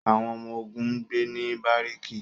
àwọn ọmọ-ogun n gbe ni bariki